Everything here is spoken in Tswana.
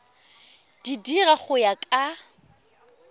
di dira go ya ka